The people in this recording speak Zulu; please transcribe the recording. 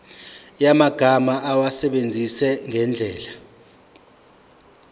yamagama awasebenzise ngendlela